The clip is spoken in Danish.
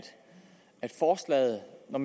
når